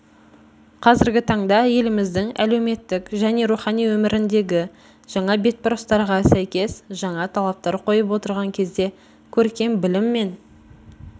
қазіргі таңда еліміздің әлеуметтік және рухани өміріндегі жаңа бетбұрыстарға сәйкес жаңа талаптар қойып отырған кезде көркем білім мен